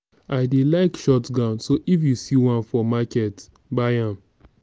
i dey like short gown so if you see one for market buy am